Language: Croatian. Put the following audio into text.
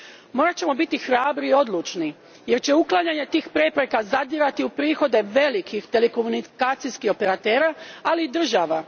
Morat ćemo biti hrabri i odlučni, jer će uklanjanje tih prepreka zadirati u prihode velikih telekomunikacijskih operatera, ali i država.